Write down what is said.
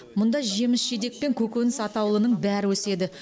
мұнда жеміс жидек пен көкөніс атаулының бәрі өседі